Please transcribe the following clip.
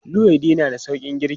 Luwaiɗi na da sauƙin girki.